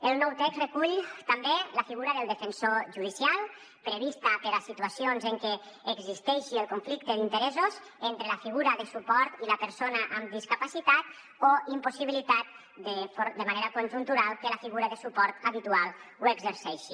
el nou text recull també la figura del defensor judicial prevista per a situacions en què existeixi el conflicte d’interessos entre la figura de suport i la persona amb discapacitat o impossibilitat de manera conjuntural i que la figura de suport habitual l’exerceixi